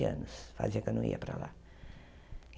anos fazia que eu não ia para lá.